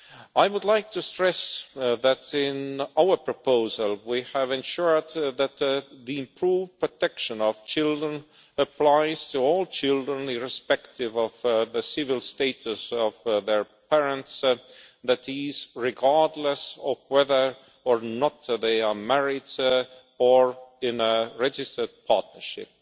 I would like to stress that, in our proposal, we have ensured that the improved protection of children applies to all children, irrespective of the civil status of their parents that is, regardless of whether or not they are married or in a registered partnership.